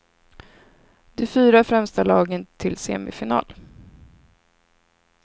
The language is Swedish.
De fyra främsta lagen till semifinal.